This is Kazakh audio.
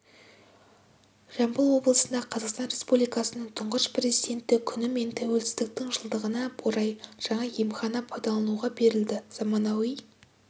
жамбыл облысында қазақстан республикасының тұңғыш президенті күні мен тәуелсіздіктің жылдығына орай жаңа емхана пайдалануға берілді заманауи